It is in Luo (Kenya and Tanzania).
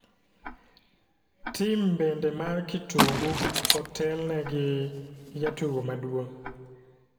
Tim bende mar kitungu kotel ne gi gi jatugo maduong,